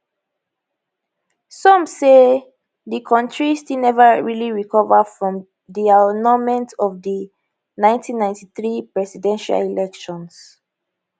some say di kontri still neva really recover from di annulment of di 1993 presidential elections